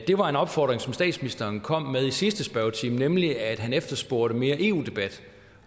er en opfordring som statsministeren kom med i sidste spørgetime nemlig at han efterspurgte mere eu debat